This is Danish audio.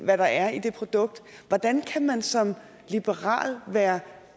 hvad der er i det produkt hvordan kan man som liberal være